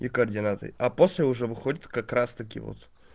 и координаты а после уже выходит как раз-таки вот